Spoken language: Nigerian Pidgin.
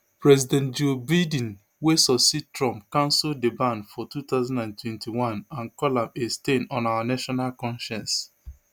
president joe biden wey succeed trump cancel di ban for two thousand and twenty-one and call am a stain on our national conscience